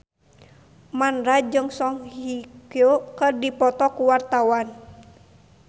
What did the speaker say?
Mandra jeung Song Hye Kyo keur dipoto ku wartawan